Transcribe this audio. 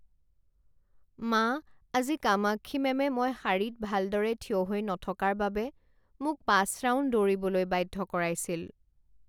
মা আজি কামাক্ষী মেমে মই শাৰীত ভালদৰে থিয় হৈ নথকাৰ বাবে মোক পাঁচ ৰাউণ্ড দৌৰিবলৈ বাধ্য কৰাইছিল।